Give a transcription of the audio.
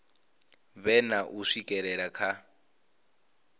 vhe na u swikelela kha